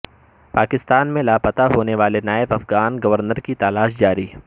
پاکستان میں لاپتا ہونے والے نائب افغان گورنر کی تلاش جاری